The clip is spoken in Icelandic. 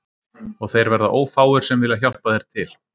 Og þeir verða ófáir sem vilja hjálpa þér til